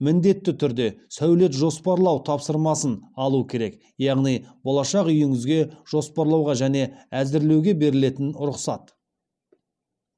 міндетті түрде сәулет жоспарлау тапсырмасын алу керек яғни болашақ үйіңізге жоспарлауға және әзірлеуге берілетін рұқсат